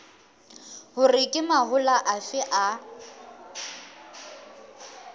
hore ke mahola afe a